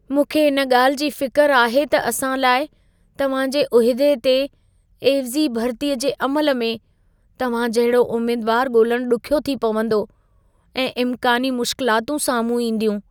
मूंखे इन ॻाल्हि जी फ़िक़र आहे त असां लाइ, तव्हां जे उहिदे ते एवज़ी भरितीअ जे अमल में, तव्हां जहिड़ो उमीदवारु ॻोल्हणु ॾुखियो थी पवंदो ऐं इम्कानी मुश्किलातूं साम्हूं ईंदियूं।